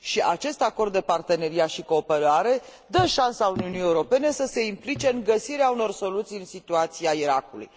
Acest acord de parteneriat și cooperare dă șansa Uniunii Europene să se implice în găsirea unor soluții în situația Irakului.